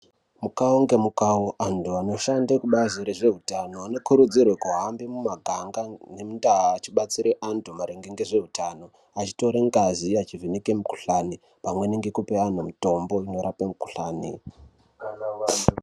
Mukawo ngemukawo antu anoshande kubazi rezveutano anokurudzirwa kuhamba mumaganga nemundau achibatsire antu maringe ngezveutano. Anotore ngazi nekuvheneke mikhuhlane pamwe ngekupa antu mitombo inorape mikhuhlane.